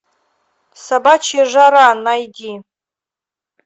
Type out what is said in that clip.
собачья жара найди